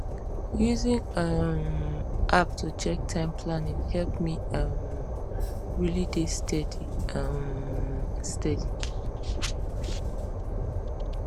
using um app to check time planning help me um really dey steady um steady